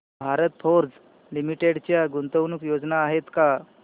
Bharat Forge limited च्या गुंतवणूक योजना आहेत का